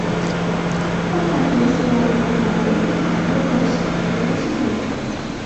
показывай сериал хеталия и страны оси первый сезон